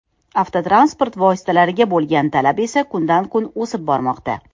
Avtotransport vositalariga bo‘lgan talab esa kundan-kun o‘sib bormoqda.